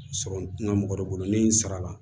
Sɔrɔ n tɛna mɔgɔ dɔ bolo ni n sara la